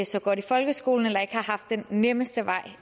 så godt i folkeskolen eller som ikke har haft den nemmeste vej